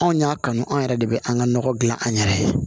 Anw y'a kanu an yɛrɛ de bɛ an ka nɔgɔ dilan an yɛrɛ ye